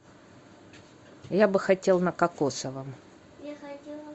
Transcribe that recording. я бы хотел на кокосовом